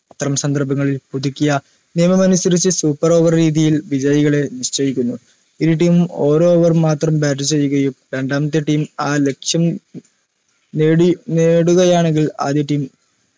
അത്തരം സന്ദർഭങ്ങളിൽ പുതുക്കിയ നിയമം അനുസരിച്ച് super over രീതിയിൽ വിജയികളെ നിശ്ചയിക്കുന്നു ഇരു time ഉം ഒരു over മാത്രം bat ചെയ്യുകയും രണ്ടാമത്തെ team ആ ലക്ഷ്യം നേടി നേടുകയാണെങ്കിൽ ആദ്യ team